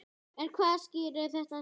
En hvað skýrir þetta svo?